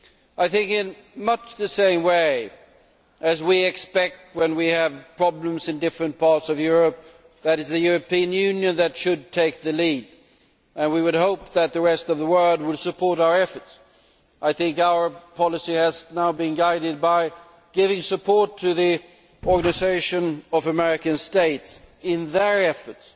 I think in much the same way as we expect, when we have problems in different parts of Europe, that it is the European Union that should take the lead and we would hope that the rest of the world would support our efforts, our policy has now been guided by giving support to the Organisation of American States in their efforts